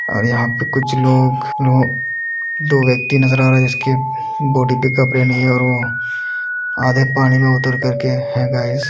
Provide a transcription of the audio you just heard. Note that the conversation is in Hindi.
और यहाँ पर कुछ लोगदो व्यक्ति नजर आ रहे हैं जिसकी बॉडी पर कपड़े नहीं हैं और वो आधे पानी में उतर कर के हे गाइस --